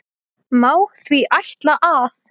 Má því ætla að